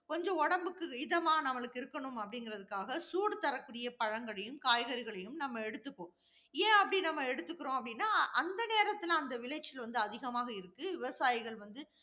கொஞ்சம் உடம்புக்கு இதமா நம்மளுக்கு இருக்கணும் அப்படிங்கிறதுக்காக, சூடு தரக்கூடிய பழங்களையும், காய்கறிகளையும், நம்ம எடுத்துப்போம். ஏன் அப்படி நம்ம எடுக்கிறோம் அப்படின்னா, அந்த நேரத்துல அந்த விளைச்சல் வந்து அதிகமாக இருக்கு. விவசாயிகள் வந்து